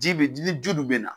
Ji be dili ju dun bena